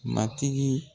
Matigi